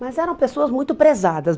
Mas eram pessoas muito prezadas.